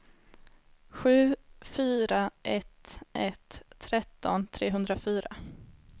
sju fyra ett ett tretton trehundrafyra